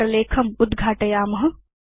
इति प्रलेखम् उद्घाटयेम